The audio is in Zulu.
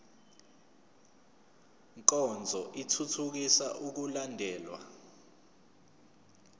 nkonzo ithuthukisa ukulandelwa